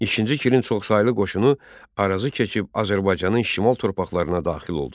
İkinci Kirin çoxsaylı qoşunu Arazı keçib Azərbaycanın şimal torpaqlarına daxil oldu.